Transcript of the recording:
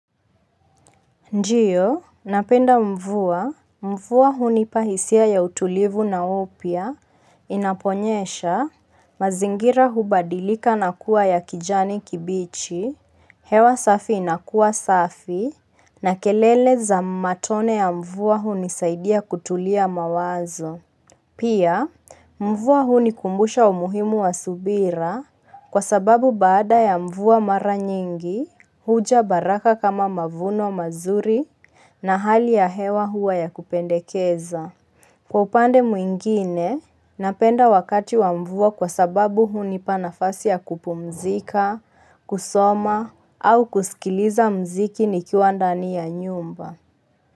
Ndiyo, napenda mvua, mvua huni pahisia ya utulivu na upya, inaponyesha, mazingira hubadilika na kuwa ya kijani kibichi, hewa safi inakua safi, na kelele za matone ya mvua huni saidia kutulia mawazo. Pia, mvuwa huu ni kumbusha umuhimu wa subira kwa sababu baada ya mvuwa mara nyingi, huja baraka kama mavuno mazuri na hali ya hewa huwa ya kupendekeza. Kwa upande mwingine, napenda wakati wa mvua kwa sababu huu ni panafasi ya kupumzika, kusoma au kusikiliza mziki ni kiwandani ya nyumba.